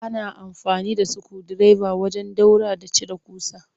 Ana amfani da sukundireba wajen ɗaura da cire ƙusa